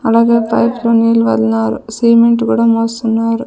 అలాగే పైప్ లో నీలి వర్ణాలు సిమెంట్ కూడా మోస్తున్నారు.